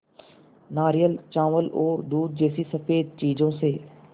नारियल चावल और दूध जैसी स़फेद चीज़ों से